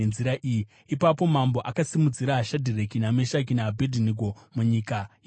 Ipapo mambo akasimudzira Shadhireki, Meshaki naAbhedhinego munyika yeBhabhironi.